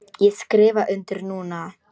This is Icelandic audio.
Ég skrifa undir núna.